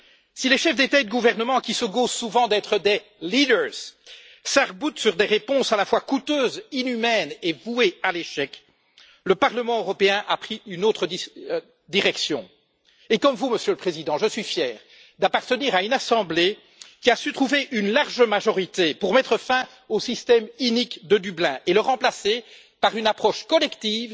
Si les chefs d'États et de gouvernement qui se gaussent souvent d'être des leaders s'arc boutent sur des réponses à la fois coûteuses, inhumaines et vouées à l'échec, le Parlement européen a pris une autre direction, et comme vous Monsieur le Président, je suis fier d'appartenir à une assemblée qui a su trouver une large majorité pour mettre fin au système inique de Dublin et le remplacer par une approche collective,